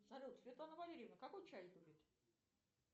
салют светлана валерьевна какой чай любит